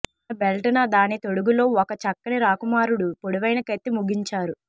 తన బెల్ట్ న దాని తొడుగు లో ఒక చక్కని రాకుమారుడు పొడవైన కత్తి ముగించారు